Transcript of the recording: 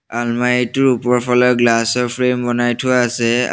আলমাৰিটোৰ ওপৰফালে গ্লাচৰ ফ্ৰেম বনাই থোৱা আছে আ--